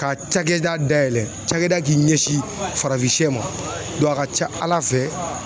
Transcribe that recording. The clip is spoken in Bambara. Ka cakɛda dayɛlɛ cakɛda k'i ɲɛsin farafinsiyɛ ma a ka ca ALA fɛ.